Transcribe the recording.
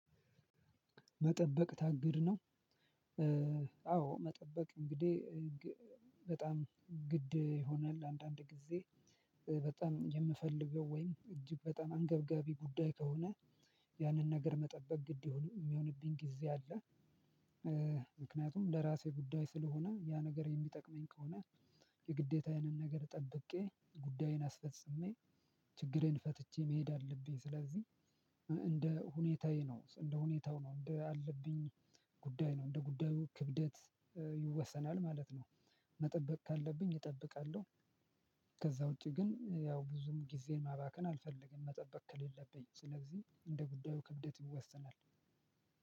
መጠበቅ ታግድ ነው። አዎ መጠበቅ እንግዲህ በጣም ግድ ይሆናል። አንዳንድ ጊዜ በጣም የምፈልገው ወይም እጅግ በጣም አንገብጋቢ ጉዳይ ከሆነ ያንን ነገር መጠበቅ ግድ በሆንም የሚሆንብኝ ጊዜ አለ። ምክንያቱም ለራሴ ጉዳይ ስለሆነ ያ ነገር የሚጠቅመኝ ከሆነ የግዴታዬንም ነገር ጠብቄ ጉዳዬን አስፈጽሜ ችግሬን ፈትቼ መሄድ አለብኝ። ስለዚህ እንደ ሁኔታዬ ነው እንደ ሁኔታው ነው እንደ አለብኝ ጉዳይ ነው እንደ ጉዳዩ ክብደት ይወሰናል ማለት ነው። መጠበቅ ካለብኝ እጠብቃለሁ። ከዛ ውጪ ግን ያው ብዙም ጊዜ ማባከን አልፈልግም መጠበቅ ከሌለብኝ ስለዚህ እንደ ጉዳዩ ክብደት ይወሰናል።